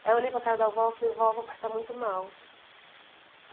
Aí eu olhei para cara da vó e falei, vó, meu pai está muito mal.